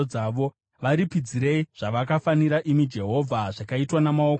Varipidzirei zvakavafanira, imi Jehovha, zvakaitwa namaoko avo.